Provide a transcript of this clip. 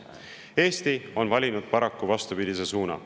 Eesti on paraku valinud vastupidise suuna.